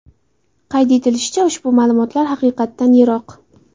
Qayd etilishicha, ushbu ma’lumotlar haqiqatdan yiroq.